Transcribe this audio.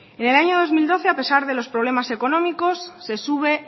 en el año dos mil doce a pesar de los problemas económicos se sube